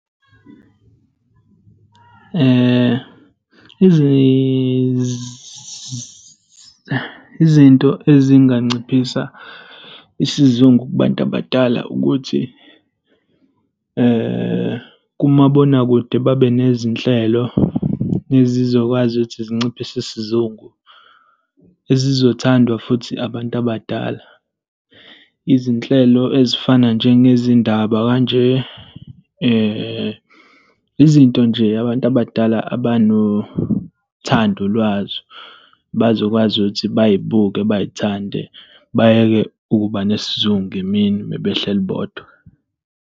Izinto ezinganciphisa isizungu kubantu abadala ukuthi kumabonakude babe nezinhlelo ezizokwazi ukuthi zinciphise isizungu. Ezizothandwa futhi abantu abadala, izinhlelo ezifana njengezindaba kanje, izinto nje abantu abadala abanothando lwazo, bazokwazi ukuthi bay'buke, bay'thande. Bayeke ukuba nesizungu emini uma behleli bodwa.